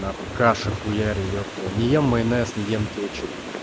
нахуй каши хуярю епта не ем майонез не ем кетчуп